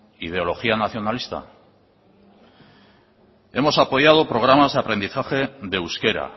ideología nacionalista hemos apoyado programas de aprendizaje de euskera